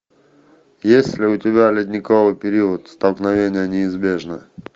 есть ли у тебя ледниковый период столкновение неизбежно